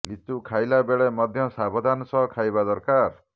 ଲିଚୁ ଖାଇଲା ବେଳେ ମଧ୍ୟ ସାବଧାନ ସହ ଖାଇବା ଦରକାର